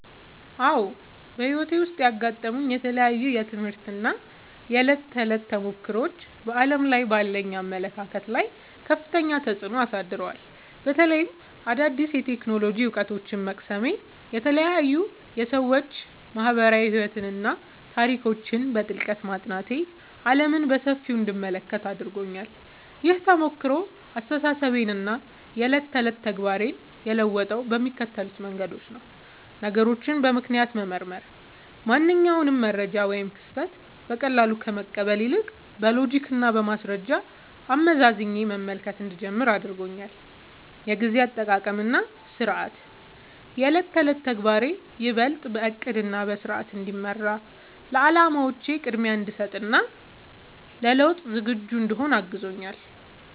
አዎ፣ በሕይወቴ ውስጥ ያጋጠሙኝ የተለያዩ የትምህርት እና የዕለት ተዕለት ተሞክሮዎች በዓለም ላይ ባለኝ አመለካከት ላይ ከፍተኛ ተጽዕኖ አሳድረዋል። በተለይም አዳዲስ የቴክኖሎጂ እውቀቶችን መቅሰሜ፣ የተለያዩ የሰዎች ማኅበራዊ ሕይወትና ታሪኮችን በጥልቀት ማጥናቴ ዓለምን በሰፊው እንድመለከት አድርጎኛል። ይህ ተሞክሮ አስተሳሰቤንና የዕለት ተዕለት ተግባሬን የለወጠው በሚከተሉት መንገዶች ነው፦ ነገሮችን በምክንያት መመርመር፦ ማንኛውንም መረጃ ወይም ክስተት በቀላሉ ከመቀበል ይልቅ፣ በሎጂክና በማስረጃ አመዛዝኜ መመልከት እንድጀምር አድርጎኛል። የጊዜ አጠቃቀምና ሥርዓት፦ የዕለት ተዕለት ተግባሬ ይበልጥ በዕቅድና በሥርዓት እንዲመራ፣ ለዓላማዎቼ ቅድሚያ እንድሰጥ እና ለለውጥ ዝግጁ እንድሆን አግዞኛል።